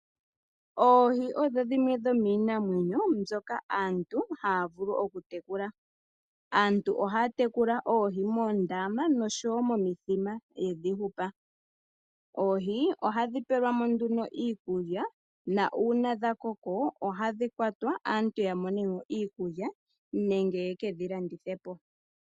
Oohi odho dhimwe dhomiinamwenyo mbyoka aantu haya vulu okutekula. Aantu ohaya tekula oohi moondama, noshowo momithima, yedhi hupa. Oohi ohadhi pelwa mo nduno iikulya, na uuna dhakoko ohadhi kwatwa, opo aantu yamonemo iikulya, nenge yekedhi landithe po.